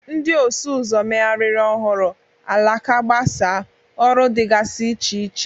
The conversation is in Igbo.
Ndị ọsụ ụzọ megharịrị ọhụrụ, alaka gbasaa, ọrụ dịgasị iche iche.